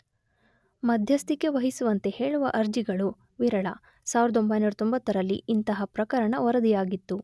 ಮಧ್ಯಸ್ಥಿಕೆ ವಹಿಸುವಂತೆ ಹೇಳುವ ಅರ್ಜಿಗಳು ವಿರಳ 1990 ರಲ್ಲಿ ಇಂತಹ ಪ್ರಕರಣ ವರದಿಯಾಗಿತ್ತು.